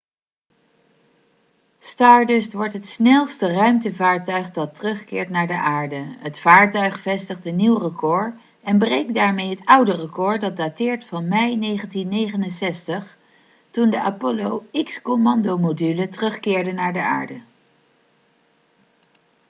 stardust wordt het snelste ruimtevaartuig dat terugkeert naar de aarde het vaartuig vestigt een nieuw record en breekt daarmee het oude record dat dateert van mei 1969 toen de apollo x-commandomodule terugkeerde naar de aarde